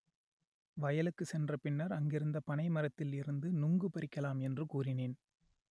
வயலுக்கு சென்ற பின்னர் அங்கிருந்த பனை மரத்தில் இருந்து நுங்கு பறிக்கலாம் என்று கூறினேன்